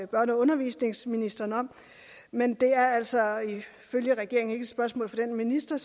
børne og undervisningsministeren om men det er altså ifølge regeringen ikke et spørgsmål til den minister